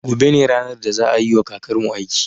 Gobe ne ranar da za a yiwa kakarmu aiki